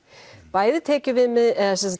bæði